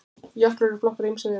jöklar eru flokkaðir á ýmsa vegu